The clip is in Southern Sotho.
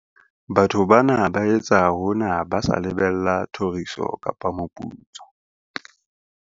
Batho bana ba etsa hona ba sa lebella thoriso kapa moputso.